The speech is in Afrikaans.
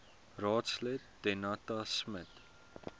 raadslid danetta smit